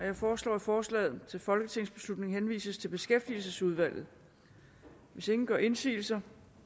jeg foreslår at forslaget til folketingsbeslutning henvises til beskæftigelsesudvalget hvis ingen gør indsigelse